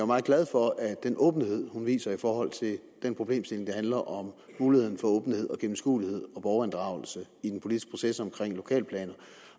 meget glad for den åbenhed hun viser i forhold til den problemstilling der handler om mulighed for åbenhed og gennemskuelighed og borgerinddragelse i den politiske proces omkring lokalplaner